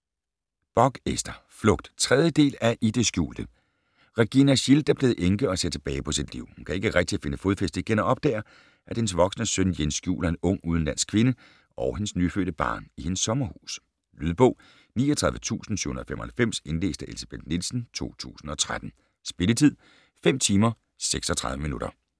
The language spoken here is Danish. Bock, Ester: Flugt 3. del af I det skjulte. Regina Schildt er blevet enke og ser tilbage på sit liv. Hun kan ikke rigtig finde fodfæste igen og opdager, at hendes voksne søn Jens skjuler en ung udenlandsk kvinde og hendes nyfødte barn i hendes sommerhus. Lydbog 39795 Indlæst af Elsebeth Nielsen, 2013. Spilletid: 5 timer, 36 minutter.